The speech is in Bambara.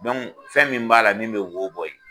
fɛn min b'a la min bɛ wo bɔ ye.